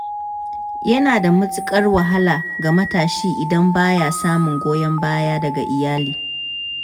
Yana da matukar wahala ga matashi idan ba ya samun goyon baya daga iyali.